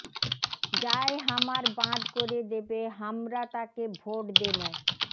যায় হামার বাঁধ করে দেবে হামরা তাক ভোট দেমো